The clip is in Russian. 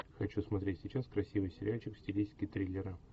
хочу смотреть сейчас красивый сериальчик в стилистике триллера